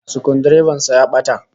Sukuldireban sa ya bata